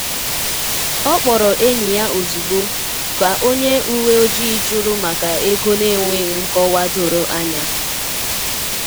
Ọ kpọrọ enyi ya ozugbo ka onye uwe ojii juru maka ego n’enweghị nkọwa doro anya.